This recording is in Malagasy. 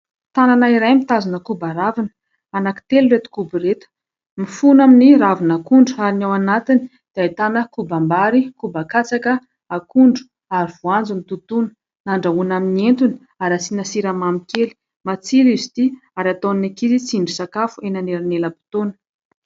Tanana iray mitazona koba ravina. Anankitelo ireto koba ireto. Mifono amin'ny ravin'akondro ary ny ao anatiny dia ahitana kobam-bary, koba katsaka, akondro ary voanjo nototoina. Andrahoina amin'ny entana ary asiana siramamy kely. Matsiro izy ity ary ataon'ny ankizy tsindrin-tsakafo eny anelanelam-potoana.